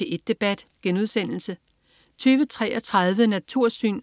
P1 Debat* 20.33 Natursyn*